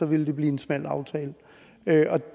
ville det blive en smal aftale